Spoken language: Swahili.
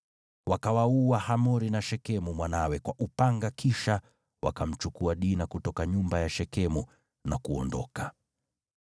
Wakawaua Hamori na Shekemu mwanawe kwa upanga kisha wakamchukua Dina kutoka nyumba ya Shekemu na kuondoka.